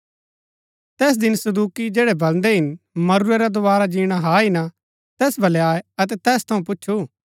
तैस दिन सदूकि जैड़ै बलदै हिन मरूरै रा दोवारा जीणा हा हि ना तैस वलै आये अतै तैस थऊँ पुछु